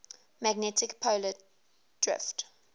magnetic poles drift